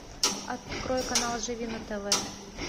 открой канал живи на тв